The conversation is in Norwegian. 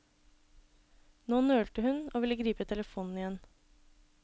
Nå nølte hun og ville gripe telefonen igjen.